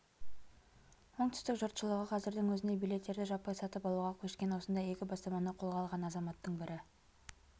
оңтүстік жұртшылығы қазірдің өзінде билеттерді жаппай сатып алуға көшкен осындай игі бастаманы қолға алған азаматтың бірі